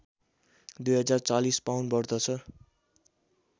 २४० pound बढ्दछ